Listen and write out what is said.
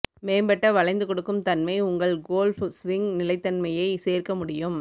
மேம்பட்ட வளைந்து கொடுக்கும் தன்மை உங்கள் கோல்ஃப் ஸ்விங் நிலைத்தன்மையை சேர்க்க முடியும்